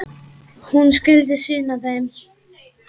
Hún skyldi sýna þeim.